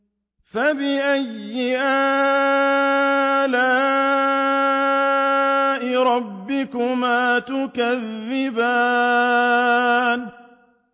فَبِأَيِّ آلَاءِ رَبِّكُمَا تُكَذِّبَانِ